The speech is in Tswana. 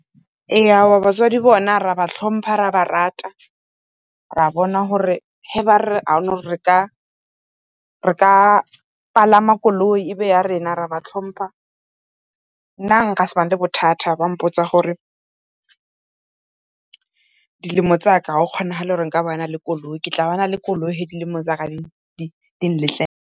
Ee aowa batswadi bone ra ba tlhompa ra ba rata, ra bona gore ge ba re ga gona gore re ka palama koloi, e nne ya rona ra ba tlhompa. Nna nka se bane le bothata ba mpotsa gore dilemo tsa ka a go kgonagale gore ke nka bana le koloi, ke tla bana le koloi ga dilemo tsaka di nletlela.